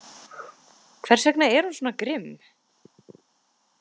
Hvers vegna er hún svona grimm?